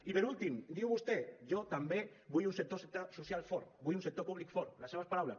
i per últim diu vostè jo també vull un sector social fort vull un sector públic fort les seves paraules